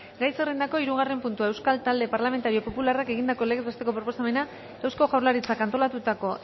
gai zerrendako hirugarren puntua euskal talde parlamentario popularrak egindako legez besteko proposamena eusko jaurlaritzak antolatutako